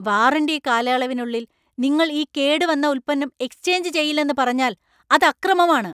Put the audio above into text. Warranty കാലയളവിനുള്ളിൽ നിങ്ങൾ ഈ കേടുവന്ന ഉൽപ്പന്നം എക്സ്ചേഞ്ച് ചെയ്യില്ലെന്ന് പറഞ്ഞാല്‍ അത് അക്രമമാണ്.